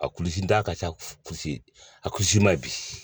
A kulisi da ka ca a ma ye bi